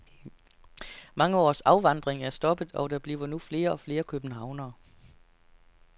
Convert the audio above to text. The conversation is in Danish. Mange års afvandring er stoppet, og der bliver nu flere og flere københavnere.